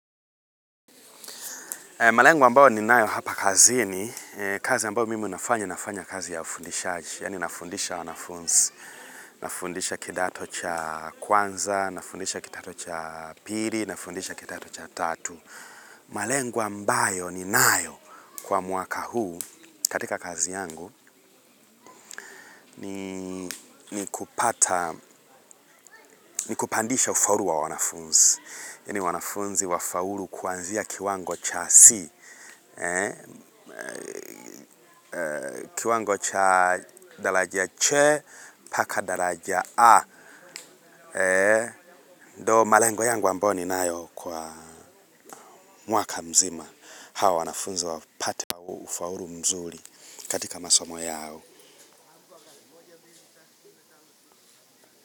Malengo ambayo ninayo hapa kazini, kazi ambayo mimi nafanya, nafanya kazi ya ufundishaji. Yaani nafundisha wanafunzi. Nafundisha kidato cha kwanza, nafundisha kidato cha pili, nafundisha kidato cha tatu. Malengo ambayo ninayo kwa mwaka huu katika kazi yangu ni kupata, ni kupandisha ufaulu wa wanafunzi. Yaani wanafunzi wafaulu kuanzia kiwango cha 'C'. Kiwango cha daraja CHE, mpaka daraja A. Ndio malengo yangu ambayo ninayo kwa mwaka mzima. Hao wanafunzi wapate ufaulu mzuri, katika masomo yao.